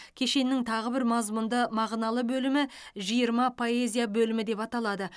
кешеннің тағы бір мазмұнды мағыналы бөлімі жиырма поэзия бөлімі деп аталады